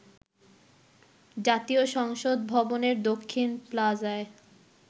জাতীয় সংসদ ভবনের দক্ষিণ প্লাজায়